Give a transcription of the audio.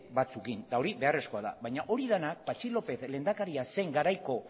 batzuekin eta hori beharrezkoa da baina hori dena patxi lópez lehendakaria zen garaiko